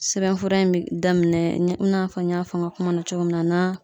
Sɛbɛnfura in be daminɛ i n'a fɔ n y'a fɔ n ka kuma na cogo min na na